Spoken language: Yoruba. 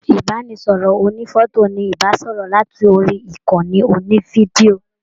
Ibanisọrọ ònífọ̀tò ní ibasọrọ lat'ori ìkànnì onifidio.